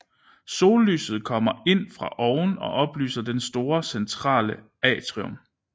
Sollyset kommer ind fra oven og oplyser det store centrale atrium